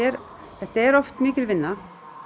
þetta er oft mikil vinna